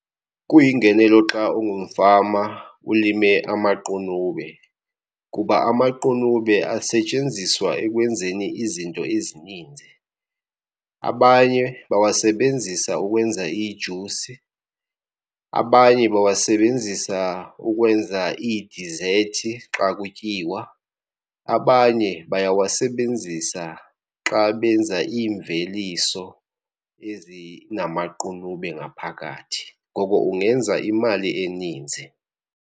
Kuyingenelo xa ungumfama ulime amaqunube, kuba amaqunube asetshenziswa ekwenzeni izinto ezininzi. Abanye bawasebenzisa ukwenza iijusi, abanye bawasebenzisa ukwenza iidizethi xa kutyiwa, abanye bayawasebenzisa xa benza iimveliso ezinamaqunube ngaphakathi. Ngoko ungenza imali eninzi.